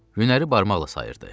Günləri barmaqla sayırdı.